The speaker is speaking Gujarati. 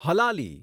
હલાલી